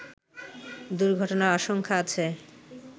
দুর্ঘটনার আশঙ্কা আছে